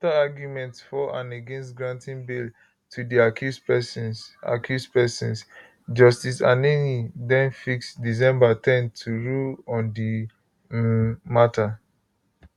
afta arguments for and against granting bail to di accused pesins accused pesins justice anenih den fix december ten to rule on di um matter